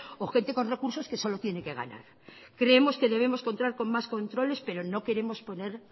o gente con recursos que solo tiene qué ganar creemos que debemos contar con más controles pero no queremos poner